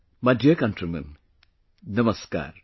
My dear countrymen, Namaskar